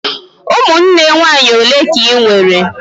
Ụmụnne nwaanyị ole ka Ị nwere?